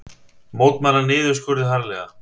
Mótmæla niðurskurði harðlega